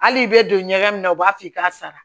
Hali i bɛ don ɲɛgɛn na u b'a f'i k'a sara